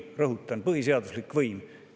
Rõhutan: põhiseaduslik võim.